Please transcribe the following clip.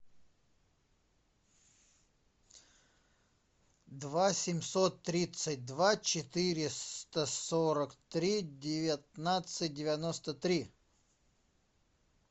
два семьсот тридцать два четыреста сорок три девятнадцать девяносто три